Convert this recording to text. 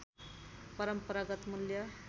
परम्परागत मूल्य